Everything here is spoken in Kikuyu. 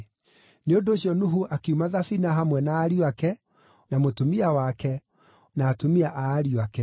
Nĩ ũndũ ũcio Nuhu akiuma thabina hamwe na ariũ ake, na mũtumia wake, na atumia a ariũ ake.